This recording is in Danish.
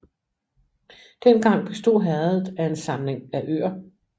Dengang bestod herredet af en samling af øer